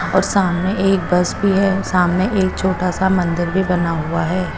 और सामने एक बस भी है सामने एक छोटा सा मंदिर भी बना हुआ है।